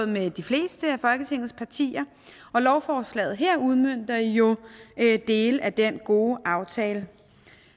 mellem de fleste af folketingets partier og lovforslaget her udmønter jo dele af den gode aftale